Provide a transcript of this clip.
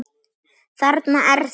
Þarna er það!